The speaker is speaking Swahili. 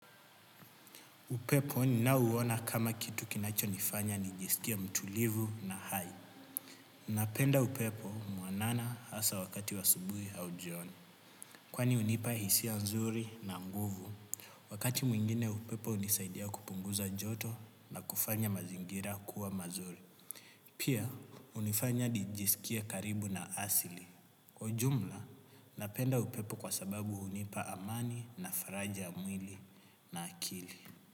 Upepo ninauona kama kitu kinachonifanya nijisikie mtulivu na hai. Napenda upepo mwanana hasa wakati wa asubuhi au jioni. Kwani hunipa hisia nzuri na nguvu. Wakati mwingine upepo hunisaidia kupunguza joto na kufanya mazingira kuwa mazuri. Pia, hunifanya nijisikie karibu na asili. Kwa ujumla, napenda upepo kwa sababu hunipa amani na faraja ya mwili na akili.